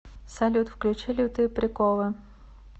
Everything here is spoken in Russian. салют включи лютые приколы